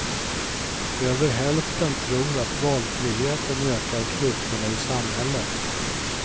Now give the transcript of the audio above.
Över hälften tror att valfriheten ökar klyftorna i samhället.